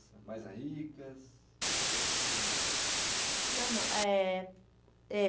mais ricas, com o que? Não, não, eh... É.